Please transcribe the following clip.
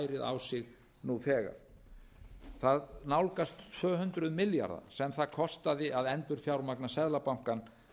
ærið á sig nú þegar það nálgast tvö hundruð milljarða sem það kostaði að endurfjármagna seðlabankann